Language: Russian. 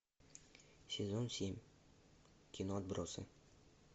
сезон семь кино отбросы